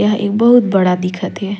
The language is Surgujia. एहा ए बहुत बड़ा दिखत हे।